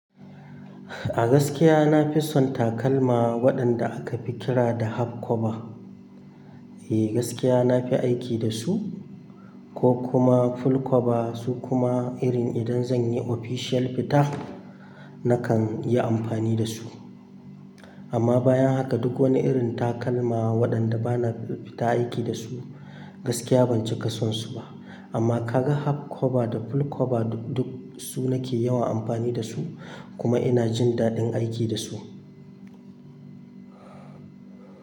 A gaskiya na fi son takalma waɗanda aka fi kira da half cover. Eh, gaskiya na fi aiki da su ko kuma full cover. Su kuma irin idan zan yi official fita, nakan yi amfani da su. Amma bayan haka duk wani irin takalma waɗanda bana fita aiki da su, gaskiya ban cika son su ba. Amma kaga half cover da full cover duk su nake yawan amfani da su kuma ina jin daɗin aiki da su.